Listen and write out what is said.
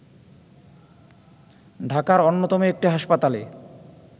ঢাকার অন্যতম একটি হাসপাতালে